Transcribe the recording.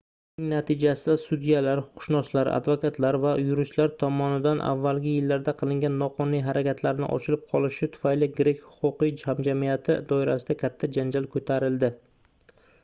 buning natijasida sudyalar huquqshunoslar advokatlar va yuristlar tomonidan avvalgi yillarda qilingan noqonuniy harakatlarning ochilib qolinishi tufayli grek huquqiy hamjamiyati doirasida katta janjal koʻtarildi